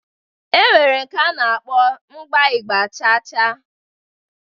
E nwere nke a na-akpọ mgba Ịgba chaa chaa.